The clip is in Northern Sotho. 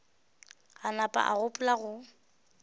a nama a gopola go